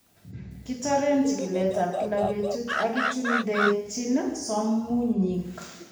Kitoren chikiletab kila betut ak kichundechin somunyik